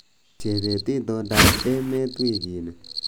Chebet itondoab emet wikini